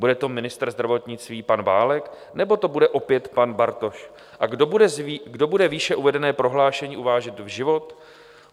Bude to ministr zdravotnictví pan Válek, nebo to bude opět pan Bartoš, a kdo bude výše uvedené prohlášení uvádět v život?